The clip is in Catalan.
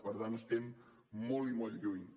per tant estem molt i molt lluny